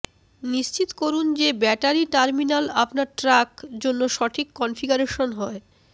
নিশ্চিত করুন যে ব্যাটারি টার্মিনাল আপনার ট্রাক জন্য সঠিক কনফিগারেশন হয়